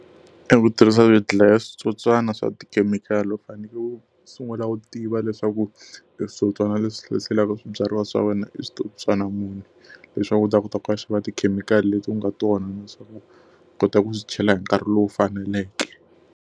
E ku tirhisa swidlayaswitsotswana swa tikhemikhali u fanekele u sungula u tiva leswaku switsotswana leswi hlaselaka swibyariwa swa wena i switsotswana muni. Leswaku u ta kota ku ya xava tikhemikhali leti ku nga tona na leswaku u kota ku swi chela hi nkarhi lowu faneleke.